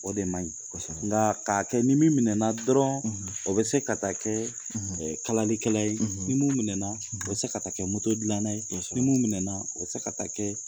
O de maɲi. Kosɛbɛ. Nkaa k'a kɛ ni min minɛna dɔrɔn, o be se ka taa kɛɛ kalalikɛla ye, ni mun minɛna, o be se ka taa kɛ dilanna ye, kosɛbɛ. Ni mun minɛna o be se ka taa kɛ